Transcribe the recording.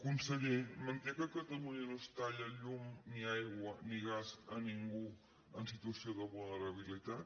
conseller manté que a catalunya no es talla llum ni aigua ni gas a ningú en situació de vulnerabilitat